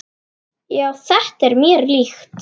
Já, þetta er mér líkt.